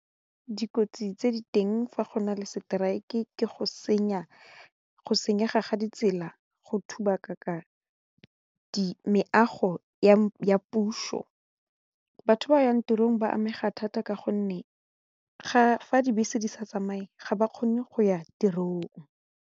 Dikotsi tse di teng fa go na le strike ke go senyega ga ditsela go thuba meago ya puso batho ba yang tirong ba amega thata ka gonne fa dibese di sa tsamaye ga ba kgone go ya tirong.